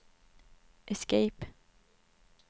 escape